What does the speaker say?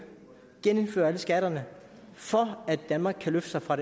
genindføre alle skatterne for at danmark kan løfte sig fra